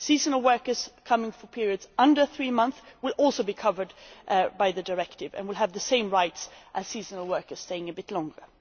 Seasonal workers coming for periods of less than three months will also be covered by the Directive and will have the same rights as seasonal workers staying a bit longer.